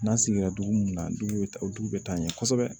N'an sigira dugu mun na dugu bɛ ta o dugu bɛ taa ɲɛ kosɛbɛ